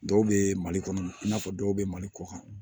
Dɔw bɛ mali kɔnɔ i n'a fɔ dɔw bɛ mali kɔ kan